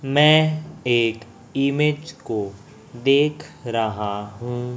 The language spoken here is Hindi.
मैं एक इमेज को देख रहा हूं।